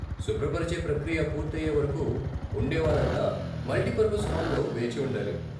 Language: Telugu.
శుభ్రపరిచే ప్రక్రియ పూర్తి అయే వరకు ఉండేవారంతా మల్టిపర్పస్ హాల్లో వేచి ఉండాలి.